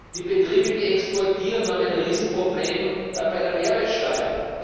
Die Betriebe, die exportieren, haben ein Riesenproblem bei der Mehrwertsteuer.